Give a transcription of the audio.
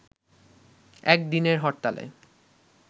একদিনের হরতালে